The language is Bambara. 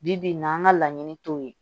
Bi bi in na an ka laɲini t'o ye